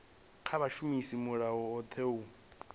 kha vha shumise mulayotewa u